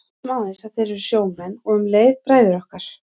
Við vitum aðeins að þeir eru sjómenn og um leið bræður okkar.